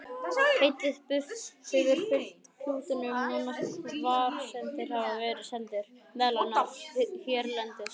Heitið buff hefur fylgt klútunum nánast hvar sem þeir hafa verið seldir, meðal annars hérlendis.